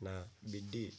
na bidii.